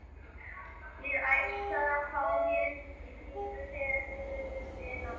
Ég ætlaði að fá mér í pípu þegar þið ruddust inn á mig.